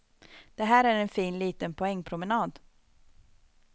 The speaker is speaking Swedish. Det här är en fin liten poängpromenad.